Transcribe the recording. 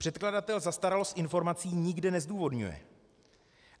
Předkladatel zastaralost informací nikde nezdůvodňuje.